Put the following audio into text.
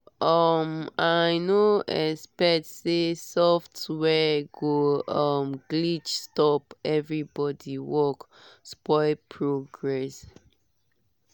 um i no expect say software go um glitch stop everybody work spoil progress